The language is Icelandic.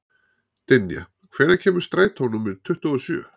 Dynja, hvenær kemur strætó númer tuttugu og sjö?